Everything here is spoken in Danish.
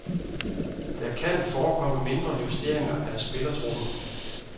Der kan forekomme mindre justeringer af spillertruppen.